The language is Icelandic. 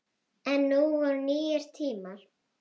En nú voru nýir tímar.